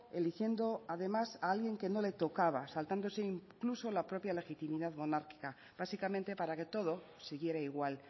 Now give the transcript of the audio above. eligiendo además a alguien que no le tocaba saltándose incluso la propia legitimidad monárquica básicamente para que todo siguiera igual